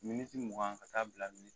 Miniti mugan ka t'a bila